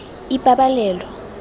ipabalelo